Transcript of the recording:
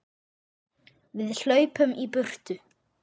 Við hlaupum í burtu.